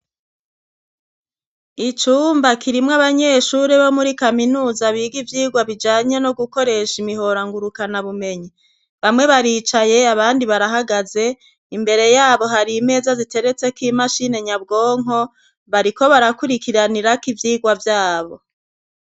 Icumba kirimwo abanyeshuri bo muri kaminuza biga ivyigwa bijanye no gukoresha imihora ngurukanabumenyi. Bamwe baricaye, abandi barahagaze. Imbere yabo hari imeza ziteretseko imashini nyabwonko, bariko barakurikiranirako ivyigwa vyabo.